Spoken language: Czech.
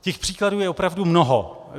Těch příkladů je opravdu mnoho.